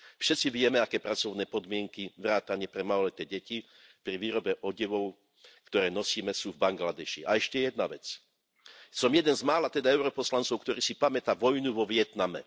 Všetci vieme, aké pracovné podmienky vrátane pre maloleté deti pri výrobe odevov, ktoré nosíme, sú v Bangladéši. A ešte jedna vec, som jeden z mála teda europoslancov, ktorý si pamätá vojnu vo Vietname.